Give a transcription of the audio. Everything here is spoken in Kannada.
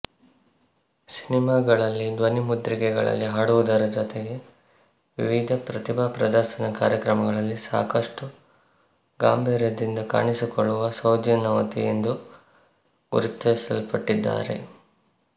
ಸಿನಿಮಾಗಳಲ್ಲಿ ಧ್ವನಿಮುದ್ರಿಕೆಗಳಲ್ಲಿ ಹಾಡುವುದರ ಜೊತೆಗೆ ವಿವಿಧ ಪ್ರತಿಭಾ ಪ್ರದರ್ಶನ ಕಾರ್ಯಕ್ರಮಗಳಲ್ಲಿ ಸಾಕಷ್ಟು ಗಾಂಭೀರ್ಯದಿಂದ ಕಾಣಿಸಿಕೊಳ್ಳುವಸೌಜನ್ಯವತಿ ಎಂದು ಗುರುತಿಸಲ್ಪಟ್ಟಿದ್ದಾರೆ